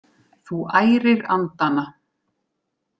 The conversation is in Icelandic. Þú ærir andana!